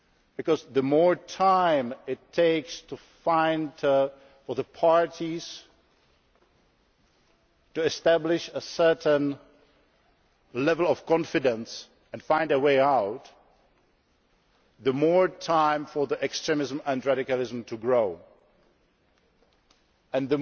time, because the more time it takes for the parties to establish a certain level of confidence and find a way out, the more time there is for extremism and radicalism